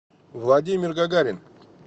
владимир гагарин